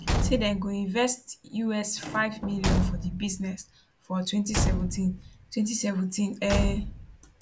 say dem go invest us5 million for di business for 2017 2017 um